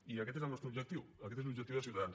i aquest és el nostre objectiu aquest és l’objectiu de ciutadans